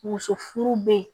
Muso furu bɛ ye